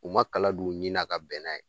U ma kala don u ɲi na ka bɛn n'a ye